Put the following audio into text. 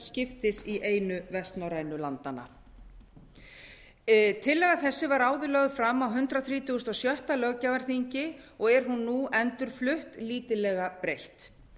skiptis í einu vestnorrænu landanna tillaga þessi var áður lögð fram á hundrað þrítugasta og sjötta löggjafarþingi og er hún nú endurflutt lítillega breytt